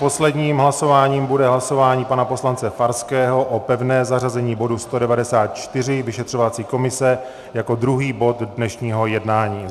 Posledním hlasováním bude hlasování pana poslance Farského o pevné zařazení bodu 194, vyšetřovací komise, jako druhý bod dnešního jednání.